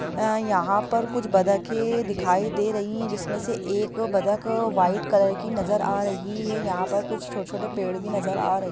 यहा पर कुछ बतखें दिखाई दे रही है जिसमें से एक बत्तख व्हाइट कलर की नजर आ रही है| यहा पर कुछ छोटे-छोटे पेड़ भी नजर आ रहे हैं।